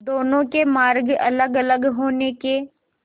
दोनों के मार्ग अलगअलग होने के